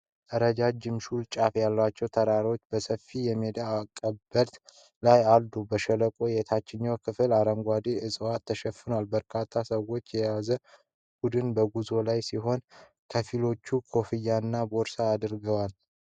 ረጃጅም ሹል ጫፎች ያሏቸው ተራሮች በሰፊው የሜዳ አቀበት ላይ አሉ። በሸለቆው የታችኛው ክፍል አረንጓዴ ዕፅዋት ተሸፍኗል። በርካታ ሰዎችን የያዘ ቡድን በጉዞ ላይ ሲሆን፣ ከፊሎቹ ኮፍያና ቦርሳ አድርገዋል።